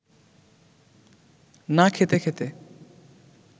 না খেতে খেতে